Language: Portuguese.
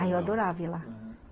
Aí eu adorava ir lá, uhum.